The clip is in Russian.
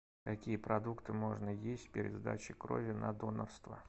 какие продукты можно есть перед сдачей крови на донорство